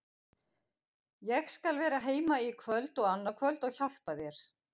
Ég skal vera heima í kvöld og annað kvöld og hjálpa þér.